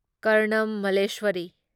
Karnam Malleswari